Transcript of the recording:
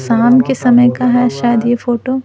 शाम के समय का है शायद ये फोटो --